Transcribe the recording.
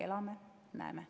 Elame, näeme.